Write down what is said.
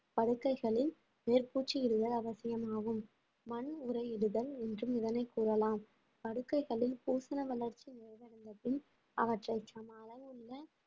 படுக்கைகளில் மேற்பூச்சிடுதல் அவசியமாகும் மண் உறையிடுதல் என்றும் இதனை கூறலாம் படுக்கைகளில் பூசன வளர்ச்சி முடிவடைந்த பின் அவற்றை சம அளவுள்ள